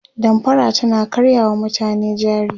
damfara tana karya wa mutane jari